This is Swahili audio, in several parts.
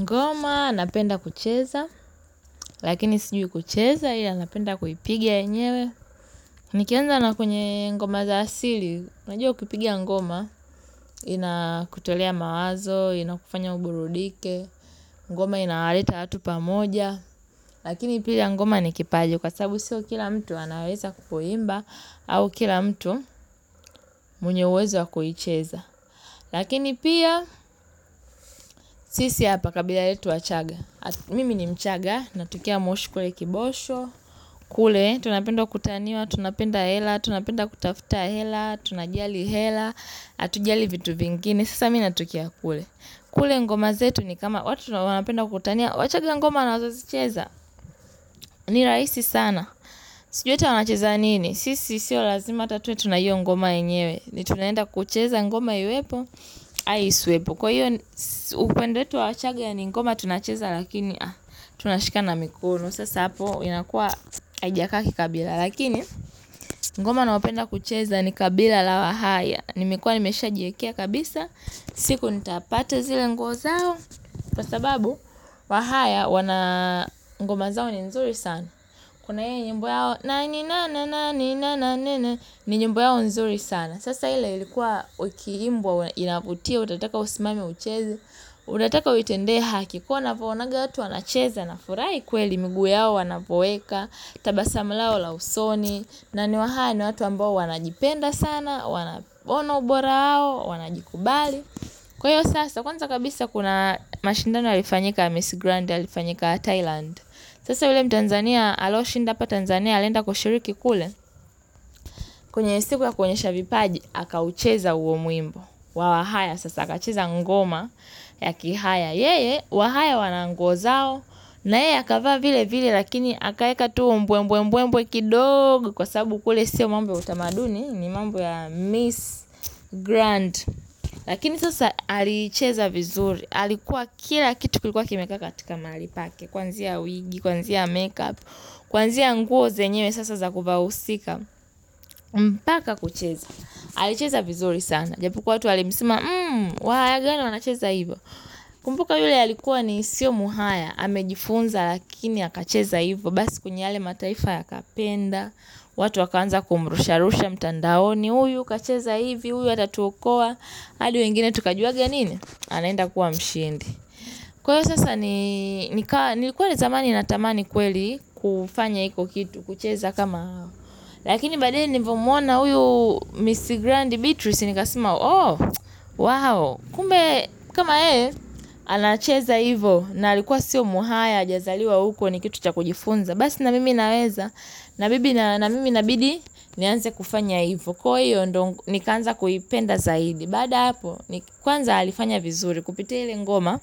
Ngoma anapenda kucheza, lakini sijui kucheza ila napenda kuipigia enyewe. Nikianza nakwenye ngoma za asili, unajua ukiipiga ngoma, inakutolea mawazo, inakufanya uburudike, ngoma inawaleta watu pamoja. Lakini pia ngoma nikipaji kwa sabu sio kila mtu anaweza kupoimba au kila mtu mwenyeuwezo wakuhicheza. Lakini pia, sisi hapa kabila yetu wachaga Mimi ni mchaga, natukia moshi kule kibosho kule, tunapendo kutaniwa, tunapenda hela, tunapenda kutafuta hela Tunajali hela, atujali vitu vingine, sasa mimi natokea kule kule ngoma zetu ni kama watu wanapenda kutania Wachaga ngoma wanazozicheza, ni rahisi sana Sijui hata wanacheza nini, sisi sio lazima hata tuwe tunahiyo ngoma yenyewe ni tunaenda kucheza ngoma iwepo, au isiwepo Kwa hiyo upande wetu wa wachaga ni ngoma tunacheza lakini tunashikana mikono Sasa hapo inakuwa ajaka kikabila Lakini ngoma nayopenda kucheza ni kabila la wahaya Nimekuwa nimesha jiekea kabisa siku nitapata zile nguo zao Kwa sababu wahaya wana ngomazao ni nzuri sana Kuna hiyo nyembo yao, nani, nani, nani, nani, nani, nani, ni nyimbo yao nzuri sana. Sasa ile ilikuwa uikiimbwa, inavutia, utataka usimame ucheze, unataka uitende haki, kwa navoonaga watu wanacheza, nafurahi kweli, miguu yao wanavoweka, tabasamu lao la usoni, na ni wahaya ni watu ambao wanajipenda sana, wanaona ubora hao, wanajikubali. Kwa hiyo sasa, kwanza kabisa kuna mashindano yalifanyika ya Miss Grande, yalifanyika Thailand. Sasa yule mtanzania alo shinda hapa tanzania alienda kushiriki kule kwenye siku ya kuonyesha vipaji Aka ucheza uo mwimbo Wawahaya sasa akacheza ngoma ya kihaya yeye Wahaya wananguo zao na yeye akavaa vile vile lakini Aka eka tu mbwe mbwe kidogo Kwa sabu kule siyo mambo ya utamaduni ni mambo ya Miss Grand Lakini sasa alicheza vizuri Alikuwa kila kitu kilikuwa kimekaa katika mahali pake Kuanzia wigi, kuanzia makeup, kuanzia nguo zenyewe sasa za kuvaa uhusika mpaka kucheza, alicheza vizuri sana Japokuwa watu walimsema, wahaya gani wanacheza hivyo kumbuka yule alikuwa ni sio muhaya amejifunza lakini akacheza hivyo Basi kwenye yale mataifa ya kapenda watu wakaanza kumrusha rusha mtandaoni Huyu kacheza hivi, huyu atatuokoa hadi wengine tukajuaga nini? Anaenda kuwa mshindi Kwa hiyo sasa nilikuwa ile zamani natamani kweli kufanya hiko kitu, kucheza kama hao. Lakini baadae nilivomwona uyu Miss Grand Beatrice nikasema, oh, wow. Kumbe kama yeye, anacheza hivo na alikuwa sio muhaya, ajazaliwa huko ni kitu cha kujifunza. Basi na mimi naweza, na mimi na bidi, nianze kufanya hivo. Kwa hiyo ndongu, nikaanza kuipenda zaidi. Baada ya hapo ni kwanza alifanya vizuri kupitia ile ngoma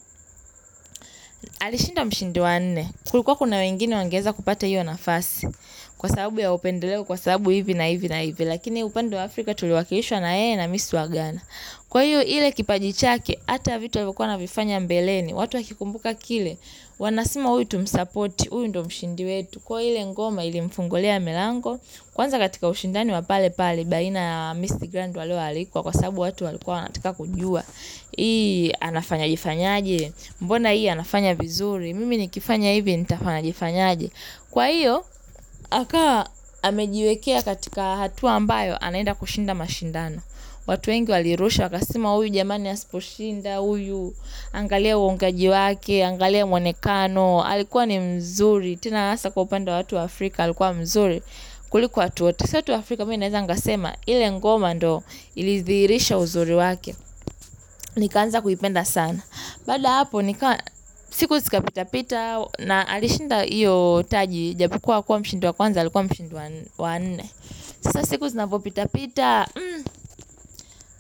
alishinda mshindi wanne Kulikuwa kuna wengine wangeweza kupata hiyo nafasi Kwa sababu ya upendeleo kwa sababu hivi na hivi na hivi Lakini upande wa Afrika tuliwakilishwa na yeye na miss wa Ghana Kwa hiyo ile kipajichake Ata vitu alivyokuwa anavifanya mbeleni watu wakikumbuka kile Wanasema huyu tumsupport uyu ndo mshindi wetu Kwaio hile ngoma ilimfungulia milango Kwanza katika ushindani wapale pale Baina ya miss grand walo alikuwa Kwa sababu watu walikuwa wanataka kujua hii anafanyaje fanyaje mbona hii anafanya vizuri mimi nikifanya hivi nitafanyaje fanyaje kwa hiyo akawa amejiwekea katika hatua ambayo anaenda kushinda mashindano watu wengi walirusha wakasema uyu jamani asiposhinda uyu angalia uongeaji wake angalia mwonekano alikuwa ni mzuri tena hasa kwa upande wa watu wa Afrika kuliko watu wote sio tu Africa mimi naeza nkasema ile ngoma ndo ilidhihirisha uzuri wake Nikaanza kuipenda sana Baada ya hapo siku sika pitapita na alishinda iyo taji Japokuwa hakuwa mshindi wa kwanza Alikuwa mshindi wa nne Sasa siku zinavo pitapita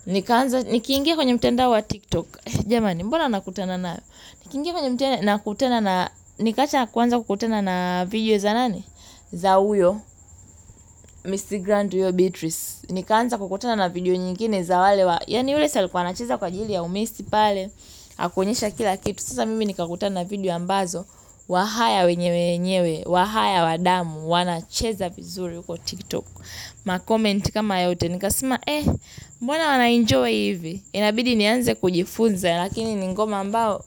Nikaanza niki ingia kwenye mtandao wa tiktok jamani mbona nakutana nayo Niki ingia kwenye mtenda nakutana na Nikacha kwanza kukutana na video za nani za uyo Ms. Grand huyo Beatrice Nikaanza kukutana na video nyingine za wale wa Yani yule si alikuwa anacheza kwa jili ya u miss pale Hakunyesha kila kitu Sasa mimi nikakutana video ambazo Wahaya wenyewe wenyewe Wahaya wadamu wana cheza vizuri uko tiktok ma comment kama yote Nikasema eh mbona wanaenjoy hivi Inabidi nianze kujifunza Lakini ningoma mbao.